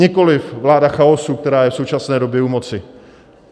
Nikoliv vláda chaosu, která je v současné době u moci.